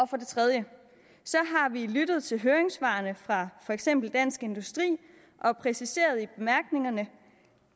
for det tredje vi har lyttet til høringssvarene fra for eksempel dansk industri og præciseret i bemærkningerne